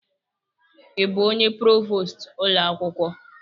Ị bụ onye provost ụlọ akwụkwọ?